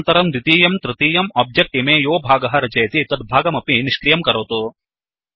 अनन्तरं द्वितीयं तृतीयम् ओब्जेक्ट् इमे यो भागः रचयति तद्भागमपि निष्क्रियं करोतु